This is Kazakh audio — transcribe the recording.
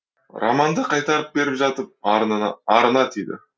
романды қайтарып беріп жатып арына тиді